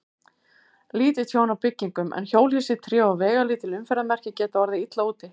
Lítið tjón á byggingum, en hjólhýsi, tré og veigalítil umferðarmerki geta orðið illa úti.